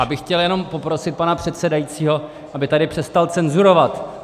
Já bych chtěl jenom poprosit pana předsedajícího, aby tady přestal cenzurovat.